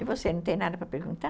E você, não tem nada para perguntar?